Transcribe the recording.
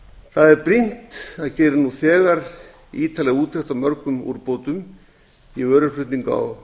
það er brýnt að gera nú þegar ítarlega úttekt á mörgum úrbótum í vöruflutningum á